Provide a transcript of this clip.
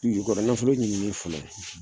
Dugu jukɔrɔ nafolo ɲinini fana